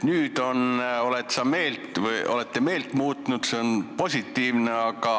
Nüüd te olete meelt muutnud ja see on positiivne.